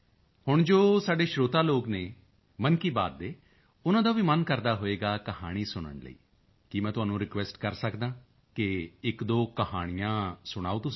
ਹੁਣ ਜੋ ਸਾਡੇ ਸਰੋਤਾ ਲੋਕ ਹਨ ਮਨ ਕੀ ਬਾਤ ਦੇ ਉਨ੍ਹਾਂ ਦਾ ਵੀ ਮਨ ਕਰਦਾ ਹੋਵੇਗਾ ਕਹਾਣੀ ਸੁਣਨ ਲਈ ਕੀ ਮੈਂ ਤੁਹਾਨੂੰ ਰਿਕੁਐਸਟ ਕਰ ਸਕਦਾ ਹਾਂ ਕਿ ਇੱਕਦੋ ਕਹਾਣੀਆਂ ਸੁਣਾਓ ਤੁਸੀਂ ਲੋਕ